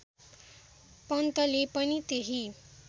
पन्तले पनि त्यही